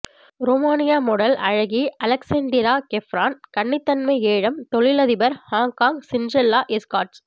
Romania model அழகி Alexandra Kefren கன்னித்தன்மை ஏலம் தொழிலதிபர் ஹாங்காங் சிண்ட்ரெல்லா எஸ்கார்ட்ஸ்